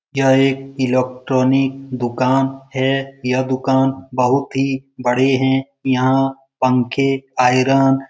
यह एक इलेक्ट्रॉनिक दुकान है यह दुकान बहुत ही बड़ी है यहाँ पंखेआयरन --